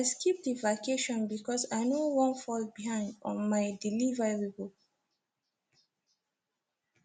i skip the vacation because i no wan fall behind on my deliverables